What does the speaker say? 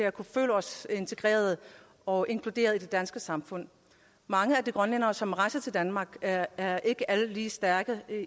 at kunne føle os integreret og inkluderet i det danske samfund mange af de grønlændere som rejser til danmark er er ikke alle lige stærke